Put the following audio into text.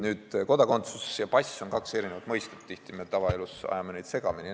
" Nüüd, kodakondsus ja pass on kaks erinevat asja, tihti ajame need tavaelus segamini.